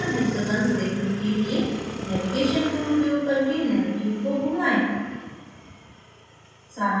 carbon hexagons देखने के लिए navigation tool उपयोग करके nanotube को घुमाएं